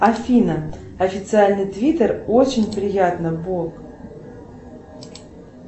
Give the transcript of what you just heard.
афина официальный твиттер очень приятно боб